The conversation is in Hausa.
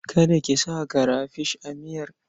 Kada ki sa karafish a miyar.